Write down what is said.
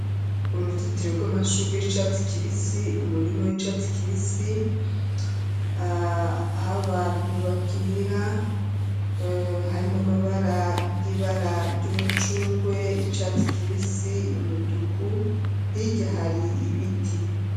Uruzitiro rw'amashugwe y'icatsi kibisi umurimu w'icatsi kibisi , ah'abantu bakinira harimwo amabara y'ibara ry'umucungwe ,icatsi kibisi ,umutuku, hirya hari ibiti.